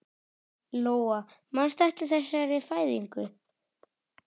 Lóa: Manstu eftir þessari fæðingu?